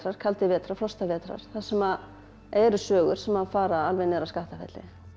kaldir vetrar vetrar frostavetrar þar sem eru sögur sem að fara alveg niður að Skaftafelli